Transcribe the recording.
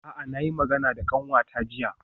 A'a na yi magana da kanwata jiya.